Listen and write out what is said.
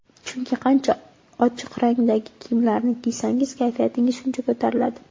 Chunki qancha ochiq rangdagi kiyimlarni kiysangiz, kayfiyatingiz shuncha ko‘tariladi.